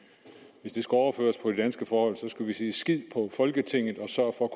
hvis det skulle overføres på de danske forhold skulle vi sige skid på folketinget og sørg for